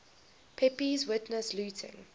pepys witnessed looting